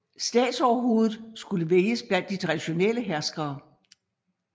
Statsoverhovedet skulle vælges blandt de traditionelle herskere